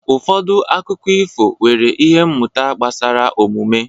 Ụfọdụ akụkọ ifo nwere ihe mmụta gbasara omume.